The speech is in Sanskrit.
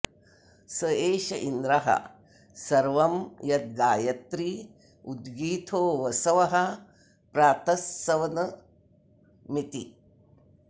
स एष इन्द्रः सर्वं यद्गायत्री उद्गीथो वसवः प्रातस्सवनमिति